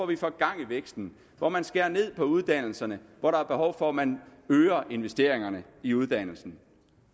vi får gang i væksten at man skærer ned på uddannelserne når der er behov for at man øger investeringerne i uddannelse